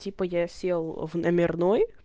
типа я сел в номерной